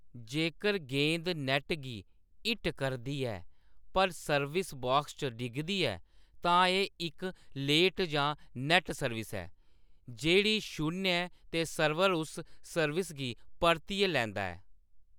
जेकर गेंद नैट्ट गी हिट करदी ऐ पर सर्विस बॉक्स च डिगदी ऐ, तां एह्‌‌ इक लेट जां नैट्ट सर्विस ऐ, जेह्‌‌ड़ी शून्य ऐ ते सर्वर उस सर्विस गी परतियै लैंदा ऐ।